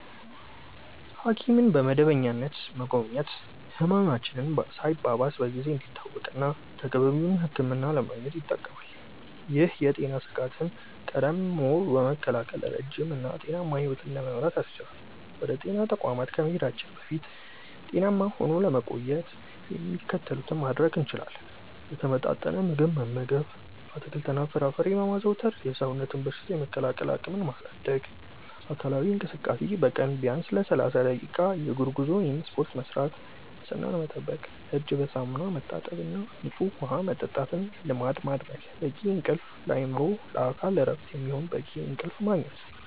ሐኪምን በመደበኛነት መጎብኘት ህመማችን ሳይባባስ በጊዜ እንዲታወቅና ተገቢውን ሕክምና ለማግኘት ይጠቅማል። ይህም የጤና ስጋትን ቀድሞ በመከላከል ረጅም እና ጤናማ ሕይወት ለመምራት ያስችላል። ወደ ጤና ተቋማት ከመሄዳችን በፊት ጤናማ ሆኖ ለመቆየት የሚከተሉትን ማድረግ እንችላለን፦ የተመጣጠነ ምግብ መመገብ፦ አትክልትና ፍራፍሬን በማዘውተር የሰውነትን በሽታ የመከላከል አቅም ማሳደግ። አካላዊ እንቅስቃሴ፦ በቀን ቢያንስ ለ30 ደቂቃ የእግር ጉዞ ወይም ስፖርት መስራት። ንፅህናን መጠበቅ፦ እጅን በሳሙና መታጠብና ንፁህ ውሃ መጠጣትን ልማድ ማድረግ። በቂ እንቅልፍ፦ ለአእምሮና ለአካል እረፍት የሚሆን በቂ እንቅልፍ ማግኘት።